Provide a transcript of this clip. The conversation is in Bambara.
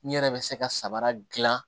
N yɛrɛ bɛ se ka sabara dilan